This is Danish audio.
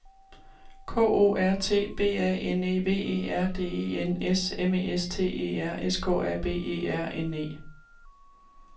K O R T B A N E V E R D E N S M E S T E R S K A B E R N E